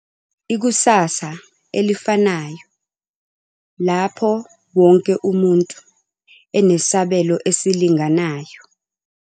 .ikusasa elifanayo lapho wonke umuntu enesabelo esilinganayo.